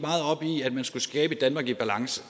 at man skulle skabe et danmark i balance